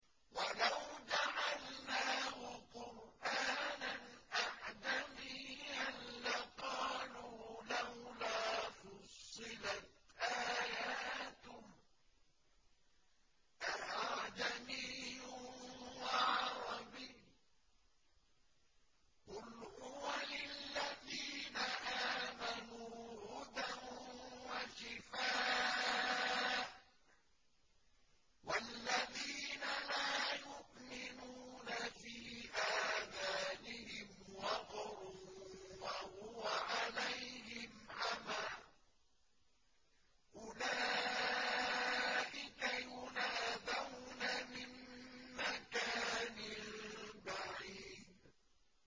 وَلَوْ جَعَلْنَاهُ قُرْآنًا أَعْجَمِيًّا لَّقَالُوا لَوْلَا فُصِّلَتْ آيَاتُهُ ۖ أَأَعْجَمِيٌّ وَعَرَبِيٌّ ۗ قُلْ هُوَ لِلَّذِينَ آمَنُوا هُدًى وَشِفَاءٌ ۖ وَالَّذِينَ لَا يُؤْمِنُونَ فِي آذَانِهِمْ وَقْرٌ وَهُوَ عَلَيْهِمْ عَمًى ۚ أُولَٰئِكَ يُنَادَوْنَ مِن مَّكَانٍ بَعِيدٍ